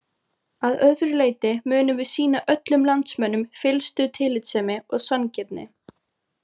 Að öðru leyti munum við sýna öllum landsmönnum fyllstu tillitssemi og sanngirni.